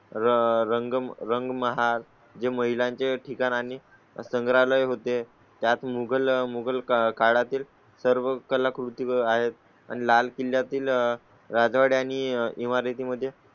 रंग रंग महाल जे महिलांचे ठिकाणी संग्रहालय होते. त्यात मुगल मुगल काळातील सर्व कलाकृती आहेत आणि लाल किल्ल्या तील राजवाडा आणि इमारती मध्ये